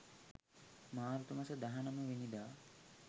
මාර්තු මස 19 වැනි දා